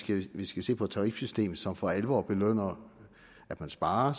vi skal se på et tarifsystem som for alvor belønner at man sparer og